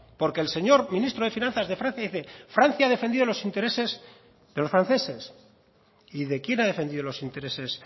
porque el señor ministro de finanzas de francia dice francia ha defendido los intereses de los franceses y de quién ha defendido los intereses